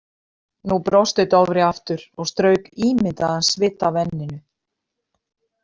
Nú brosti Dofri aftur og strauk ímyndaðan svita af enninu.